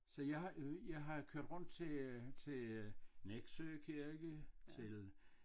Så jeg har øh jeg har kørt rundt til øh til øh Nexø kirke til